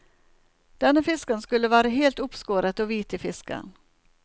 Denne fisken skulle være helt oppskåret og hvit i fisken.